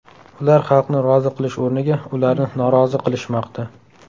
Ular xalqni rozi qilish o‘rniga ularni norozi qilishmoqda.